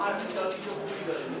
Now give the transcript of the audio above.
Doğru yeyə bilmədim.